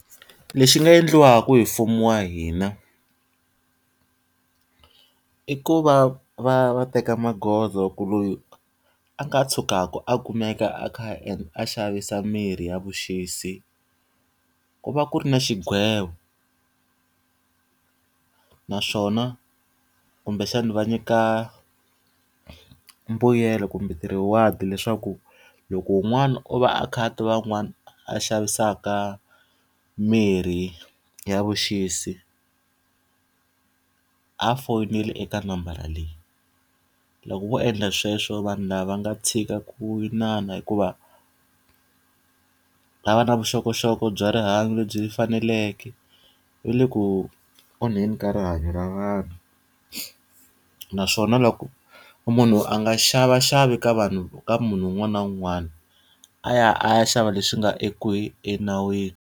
Lexi nga endliwaka hi mfumo wa hina i ku va va va teka magoza ku loyi a nga tshukaka a kumeka a kha a xavisa mirhi ya vuxisi, ku va ku ri na xigwevo. Naswona kumbexana va nyika mbuyelo kumbe ti-rewards leswaku, loko wun'wana o va a kha a tiva un'wana a xavisaka mirhi ya vuxisi, a fonele eka nambara leyi. Loko vo endla sweswo vanhu lava va nga tshika ku inana hikuva a va na vuxokoxoko bya rihanyo lebyi faneleke, va le ku onheni ka rihanyo ra vanhu. Naswona loko munhu a nga xavaxavi ka vanhu ka munhu un'wana na un'wana, a ya a ya xava leswi nga enawini.